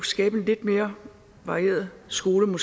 skabe en lidt mere varieret skole på